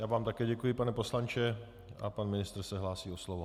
Já vám také děkuji, pane poslanče, a pan ministr se hlásí o slovo.